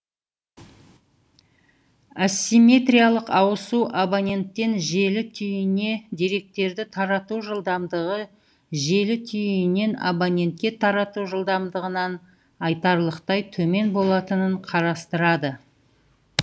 асимметриялық ауысу абоненттен желі түйініне деректерді тарату жылдамдығы желі түйінінен абонентке тарату жылдамдығынан айтарлықтай төмен болатынын қарастырады